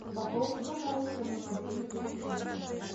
пополни пожалуйста мой мобильный телефон